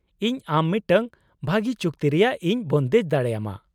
-ᱤᱧ ᱟᱢ ᱢᱤᱫᱴᱟᱝ ᱵᱷᱟᱹᱜᱤ ᱪᱩᱠᱛᱤ ᱨᱮᱭᱟᱜ ᱤᱧ ᱵᱚᱱᱫᱮᱡ ᱫᱟᱲᱮᱭᱟᱢᱟ ᱾